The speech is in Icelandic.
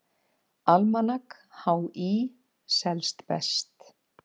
Almanak HÍ selst best